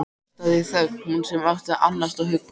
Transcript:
Hlustaði í þögn, hún sem átti að annast og hugga.